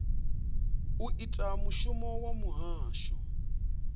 u ita mushumo wa muhasho